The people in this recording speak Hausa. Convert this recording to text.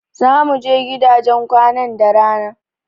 Zamu je gidajen kwanan da rana.